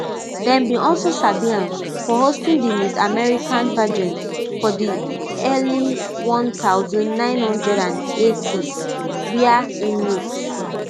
dem bin also sabi am for hosting di miss america pageant for di early one thousand, nine hundred and eightys wia im meet